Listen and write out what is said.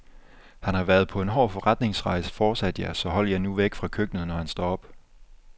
Han har været på en hård forretningsrejse, fortsatte jeg, så hold jer nu væk fra køkkenet, når han står op.